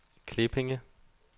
Klippinge